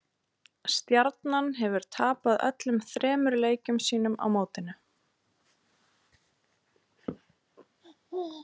Stjarnan hefur tapað öllum þremur leikjum sínum á mótinu.